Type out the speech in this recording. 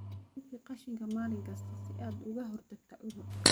Nadiifi qashinka maalin kasta si aad uga hortagto cudur.